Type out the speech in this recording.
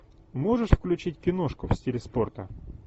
можешь включить киношку в стиле спорта